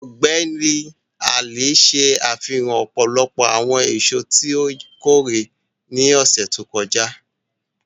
Ọgbẹni Ali ṣe afihan ọpọlọpọ awọn eso ti o kore ni ọsẹ to kọja.